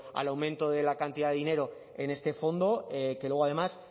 al aumento de la cantidad de dinero en este fondo que luego además